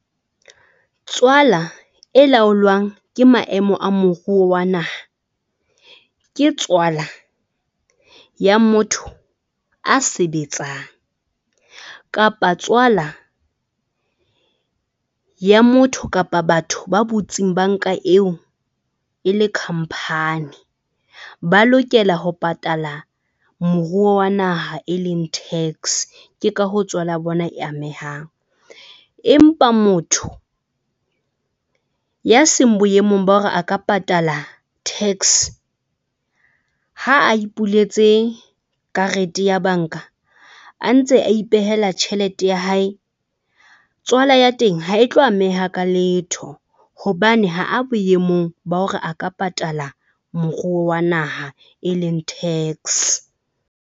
Tswala e laolwang ke maemo a moruo wa naha ke tswala ya motho a sebetsang kapa tswala ya motho kapa batho ba butsing bank-a eo e le company, ba lokela ho patala moruo wa naha e leng tax. Ke ka hoo tswala ya bona e amehang empa motho ya seng boemong ba hore a ka patala tax ha a ipuletse karete ya bank-a, a ntse a ipehela tjhelete ya hae. Tswala ya teng ha e tlo ameha ka letho hobane ha a boemong ba hore a ka patala moruo wa naha e leng tax.